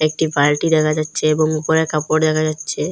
একটি বালটি দেখা যাচ্ছে এবং উপরে কাপড় দেখা যাচ্ছে।